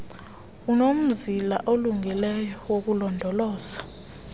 unomzila olungileyo wokulondoloza